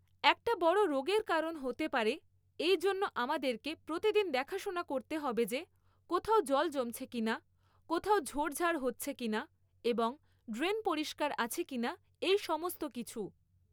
একটা বড় রোগের কারণ হতে পারে এইজন্য আমাদেরকে প্রতিদিন দেখাশোনা করতে হবে যে কোথাও জল জমছে কিনা কোথাও ঝোড় ঝাড় হচ্ছে কিনা এবং ড্রেন পরিষ্কার আছে কিনা এই সমস্ত কিছু